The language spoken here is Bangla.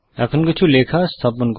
এখন কিছু লেখা স্থাপন করি